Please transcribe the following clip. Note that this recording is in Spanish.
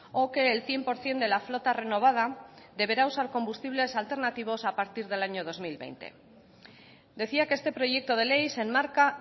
o que el cien por ciento de la flota renovada deberá usar combustibles alternativos a partir del año dos mil veinte decía que este proyecto de ley se enmarca